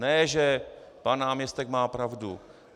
Ne že pan náměstek má pravdu.